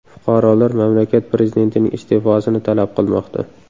Fuqarolar mamlakat prezidentining iste’fosini talab qilmoqda.